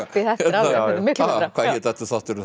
miklu betra hvað hét aftur þátturinn